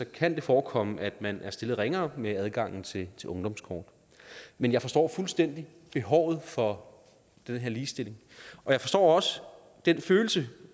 kan det forekomme at man er stillet ringere med adgangen til ungdomskortet men jeg forstår fuldstændig behovet for den her ligestilling og jeg forstår også den følelse